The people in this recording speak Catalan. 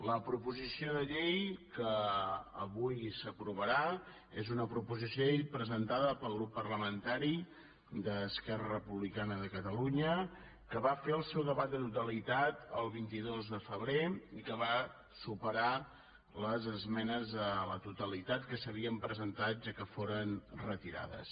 la proposició de llei que avui s’aprovarà és una proposició de llei presentada pel grup parlamentari d’esquerra republicana de catalunya que va fer el seu debat de totalitat el vint dos de febrer i que va superar les esmenes a la totalitat que s’havien presentat ja que foren retirades